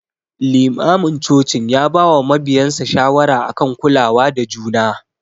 Limamin cocin ya bawa mabiyansa shawara akan kulawa da juna.